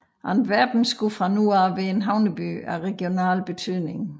Antwerpen skulle fra nu af være en havneby af regional betydning